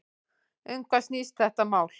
Um hvað snýst þetta mál?